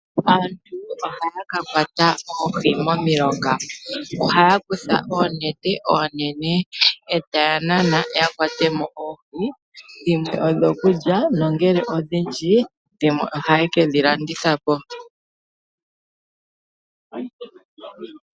Aantu ohaa ka kwata oohi momilonga, ohaya kutha oonete oonene, e taya nana yakwatemo oohi. dhimwe odjo kulya, no ngele odhindji dhimweojaye ke dhi landithapo.